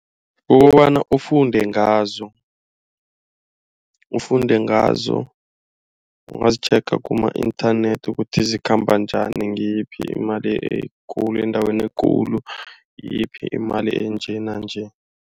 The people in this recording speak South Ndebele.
Kukobana ufunde ngazo, ufunde ngazo ungazitjhenga kuma-inthanethi ukuthi zikhamba njani. Ngiyiphi imali ekulu endaweni ekulu ngiyiphi imali enje nanje.